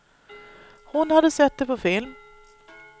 Hon hade sett det på film.